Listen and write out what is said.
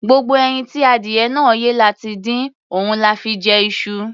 Gbogbo ẹyin tí adìyẹ náà yé la ti dín, òun la fi jẹ iṣu.